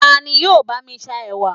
tani yíò ba mi sa ẹwà